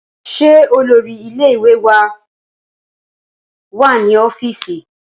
Ṣé olórí ilé ìwé wá ní ọ́fíìsì?